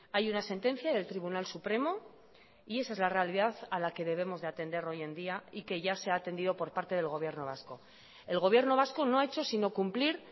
hay una sentencia del tribunal supremo y esa es la realidad a la que debemos de atender hoy en día y que ya se ha atendido por parte del gobierno vasco el gobierno vasco no ha hecho sino cumplir